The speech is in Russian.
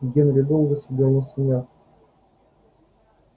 генри долго сидел на санях